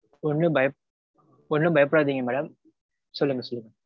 ஒன்னும் பயப்~ஒன்னும் பயப்படாதீங்க madam. சொல்லுங்க சொல்லுங்க